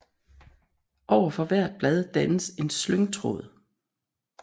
Overfor hvert blad dannes en slyngtråd